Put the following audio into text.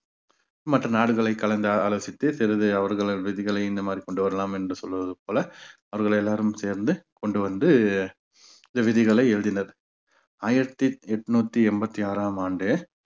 மற்ற நாடுகளை கலந்து ஆலோசித்து சிறிது அவர்களது விதிகளை இந்த மாதிரி கொண்டு வரலாம் என்று சொல்வது போல அவர்கள் எல்லாரும் சேர்ந்து கொண்டு வந்து இந்த விதிகளை எழுதினர் ஆயிரத்தி எட்நூத்தி எண்பத்தி ஆறாம் ஆண்டு